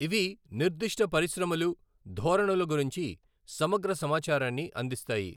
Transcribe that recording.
ఇవి నిర్దిష్ట పరిశ్రమలు, ధోరణుల గురించి సమగ్ర సమాచారాన్ని అందిస్తాయి.